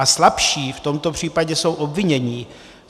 A slabší v tomto případě jsou obvinění.